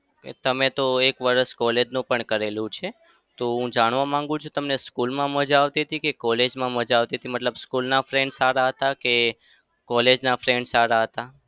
તમે તો એક વરસ college નું પણ કરેલું છે. તો હું જાણવા માંગુ છું તમને school માં મજા આવતી હતી કે college માં મજા આવતી હતી? મતલબ school ના friend સારા હતા કે college ના friend સારા હતા?